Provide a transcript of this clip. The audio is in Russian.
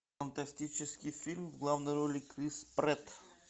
фантастический фильм в главной роли крис прэтт